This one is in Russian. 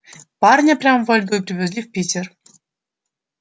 парня прямо во льду и привезли в питер